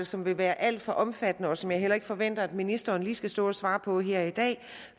som vil være alt for omfattende og som jeg heller ikke forventer at ministeren lige skal stå og svare på her i dag